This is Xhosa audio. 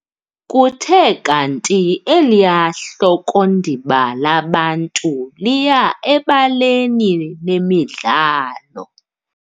Kuthe kanti eliya hlokondiba labantu liya ebaleni lemidlalo.